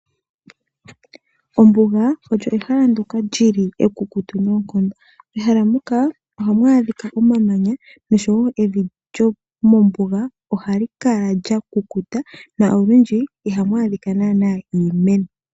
Ombuga, oyo ehala ndyoka lyi li ekukutu noonkondo. Mehala muka, ohamu adhika omamanya, nevi lyomombuga ohali kala lya kukuta, na olwindji ihamu adhika naanaa iimeno.